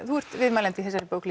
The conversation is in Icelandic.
þú ert viðmælandi í þessari bók